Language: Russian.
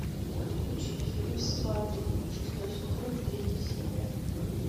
включить фильм сваты шестой сезон третья серия